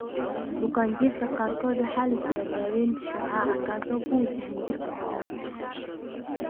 Bukaanjiifka qaarkood waxa la siiyaa daawaynta shucaaca kaas oo ku wajahan jidhka oo dhan.